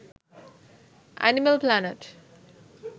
animal planet